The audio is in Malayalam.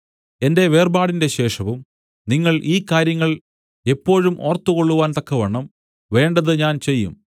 എന്റെ വേർപാടിന്റെ ശേഷവും നിങ്ങൾ ഈ കാര്യങ്ങൾ എപ്പോഴും ഓർത്തുകൊള്ളുവാൻ തക്കവണ്ണം വേണ്ടത് ഞാൻ ചെയ്യും